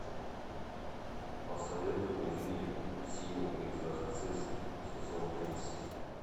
посоветуй мне фильм синий экзорцист сезон тридцать